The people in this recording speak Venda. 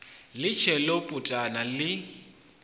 ḽi tshee ḽo putana ḽi